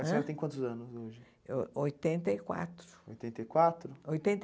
A senhora tem quantos anos hoje? Oitenta e quatro. Oitenta e quatro? Oitenta e